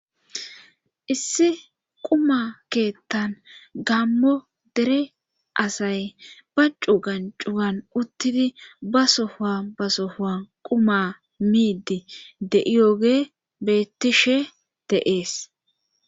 issi quma keettan gammo dere asay ba cugan cugan uttidi ba sofuan basofuan quma miidi de7iyoge beettishe de7ees